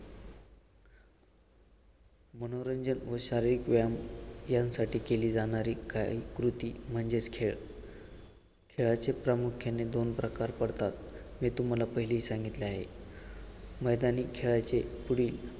मनोरंजन व शारीरिक व्यायाम यांसाठी केली जाणारी काळी कृती म्हणजेच खेळ. खेळाचे प्रामुख्याने दोन प्रकार पडतात हे तुम्हाला पहिली सांगितले आहे मैदानी खेळाचे पुढील